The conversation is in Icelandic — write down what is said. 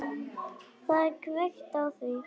Það er kveikt á því.